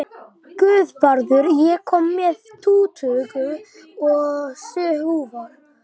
Guðvarður, ég kom með tuttugu og sjö húfur!